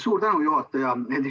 Suur tänu, juhataja!